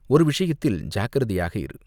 ஒரு விஷயத்தில் ஜாக்கிரதையாக இரு.